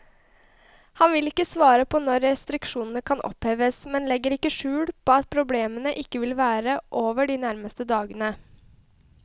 Han vil ikke svare på når restriksjonene kan oppheves, men legger ikke skjul på at problemene ikke vil være over de nærmeste dagene.